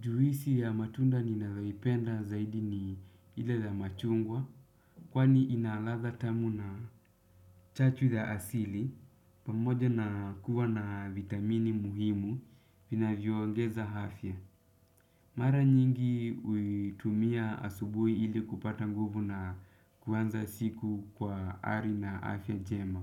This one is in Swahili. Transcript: Juisi ya matunda ninayoipenda zaidi ni ile ya machungwa. Kwani ina ladha tamu na chachu ya asili. Pamoja na kuwa na vitamini muhimu vinavyongeza afya. Mara nyingi huitumia asubuhi ili kupata nguvu na kuanza siku kwa hali na afya jema.